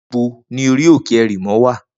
Nibó ni óri óké èrimò wá?